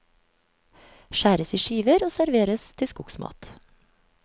Skjæres i skiver og serveres til skogsmat.